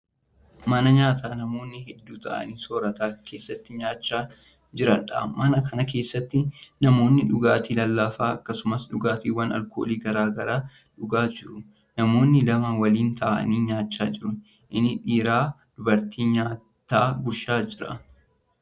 Mana nyaataa namoonni hedduun taa'anii soorata keessatti nyaachaa jiraniidha. mana Kan keessatti namoonni dhugaatii lallaafaa akkasumas dhugaatiiwwan alkoolii garagaraa dhugaa jiru. namoonni lama waliin taa'anii nyaachaa jiru. inni dhiiraa dubartittii nyaata gurshaa jira.